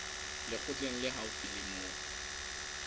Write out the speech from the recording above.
lekgotleng le haufi le moo